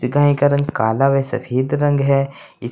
इस गाय का रंग काला वा सफेद रंग है इस--